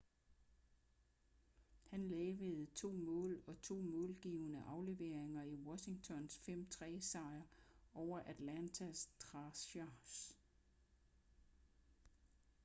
han lavede 2 mål og 2 målgivende afleveringer i washingtons 5-3 sejr over atlanta thrashers